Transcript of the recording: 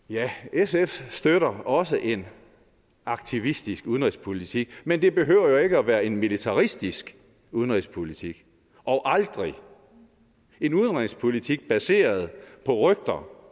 sf støtter også en aktivistisk udenrigspolitik men det behøver jo ikke at være en militaristisk udenrigspolitik og aldrig en udenrigspolitik baseret på rygter